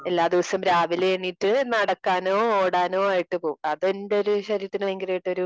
എല്ലാ ദിവസം രാവിലെ എണീറ്റ് നടക്കാനോ ഓടാനോ ആയിട്ട് പോകും. അത് എന്റെ ഒരു ശരീരത്തിന് ഭയങ്കരമായിട്ട് ഒരു